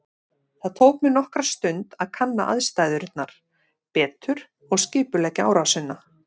Það tók mig nokkra stund að kanna aðstæðurnar betur og skipuleggja árásina.